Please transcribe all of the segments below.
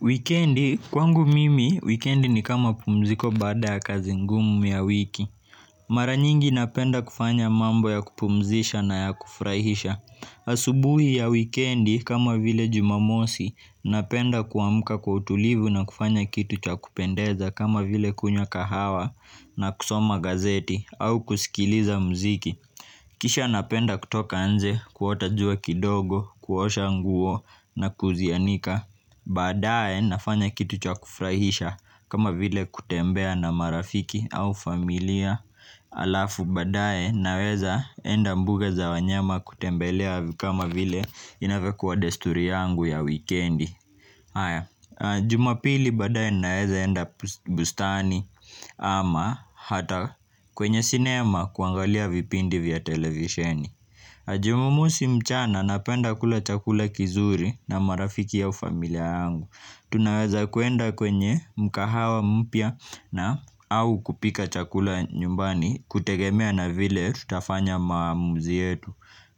Wikendi, kwangu mimi, wikendi ni kama pumziko baada ya kazi ngumu ya wiki. Mara nyingi napenda kufanya mambo ya kupumzisha na ya kufurahisha. Asubuhi ya wikendi, kama vile jumamosi, napenda kuamka kwa utulivu na kufanya kitu cha kupendeza kama vile kunywa kahawa na kusoma gazeti au kusikiliza muziki. Kisha napenda kutoka nje, kuota jua kidogo, kuosha nguo na kuzianika. Baadaye nafanya kitu cha kufurahisha kama vile kutembea na marafiki au familia alafu baadaye naweza enda mbuga za wanyama kutembelea kama vile inavyokuwa desturi yangu ya wikendi Jumapili baadaye naweza enda bustani ama hata kwenye sinema kuangalia vipindi vya televisheni jumamosi mchana napenda kula chakula kizuri na marafiki au familia yangu tunaweza kuenda kwenye mkahawa mpya na au kupika chakula nyumbani kutegemea na vile tutafanya maamuzi yetu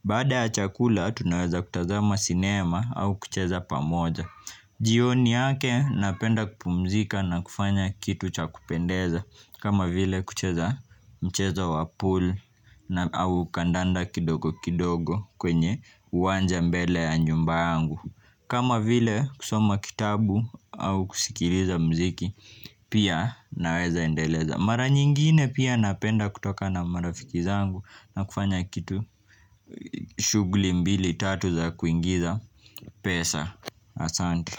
baada ya chakula tunaweza kutazama sinema au kucheza pamoja jioni yake napenda kupumzika na kufanya kitu cha kupendeza kama vile kucheza mchezo wa pool na au kandanda kidogo kidogo kwenye uwanja mbele ya nyumba yangu kama vile kusoma kitabu au kusikiliza muziki pia naweza endeleza mara nyingine pia napenda kutoka na marafiki zangu na kufanya kitu shughuli mbili tatu za kuingiza pesa asante.